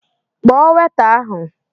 Kpọọ weta ahụ!